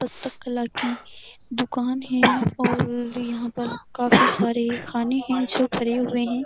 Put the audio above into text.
पुस्तक कला की दुकान है और यहाँ पर काफी सारे खाने हैं जो भरे हुए हैं।